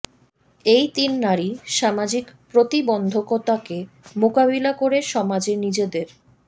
এই তিন নারী সামাজিক প্রতিবন্ধকতাকে মোকাবিলা করে সমাজে নিজেদের